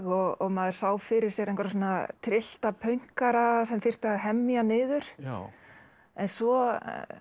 og maður sá fyrir sér einhverja tryllta pönkara sem þyrfti að hemja niður en svo